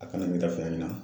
A kana na.